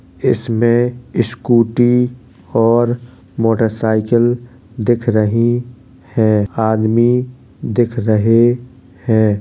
इसमें स्कूटी और मोटरसाइकिल दिख रही है आदमी दिख रहे हैं।